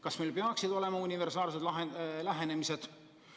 Kas meil peaks olema universaalne lähenemine?